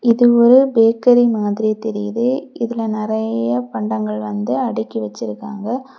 இது ஒரு பேக்ரி மாதிரி தெரியுது. இதுல நறைய பண்டங்கள் வந்து அடுக்கி வச்சிருக்காங்க.